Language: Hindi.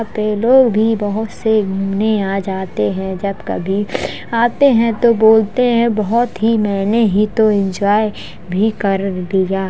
यहां पे लोग भी बहोत से घूमने आ जाते हैं जब कभी आते हैं तो बोलते हैं बहोत ही मेने ही तो इन्जॉय भी कर लिया --